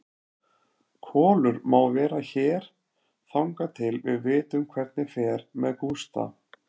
Kolur má vera hér þangað til við vitum hvernig fer með Gústa.